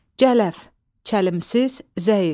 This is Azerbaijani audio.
Cələf, çəlimsiz, zəif.